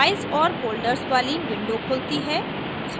files और folders वाली window खुलती है